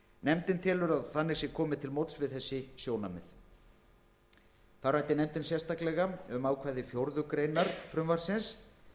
nefndin telur að þannig sé komið til móts við þessi sjónarmið þá ræddi nefndin sérstaklega um ákvæði fjórðu grein frumvarpsins